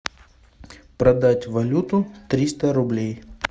продать валюту триста рублей